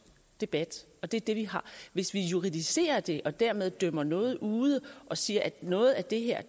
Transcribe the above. debat og det er det vi har hvis vi juridicerer det og dermed dømmer noget ude og siger at noget af det her